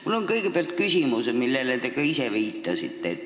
Mul on kõigepealt küsimus, millele te ka ise viitasite.